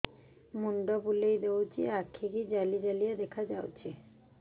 ମୁଣ୍ଡ ବୁଲେଇ ଦଉଚି ଆଖି ଜାଲି ଜାଲି ଦେଖା ଯାଉଚି